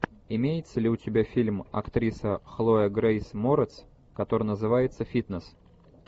имеется ли у тебя фильм актриса хлоя грейс морец который называется фитнес